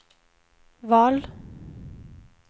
val